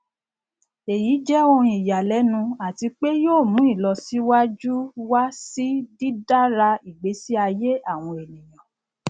èyí jẹ ohun ìyanilénu àti pé yóò mu ìlọsíwájú wa si dídára ìgbésí aye àwọn ènìyàn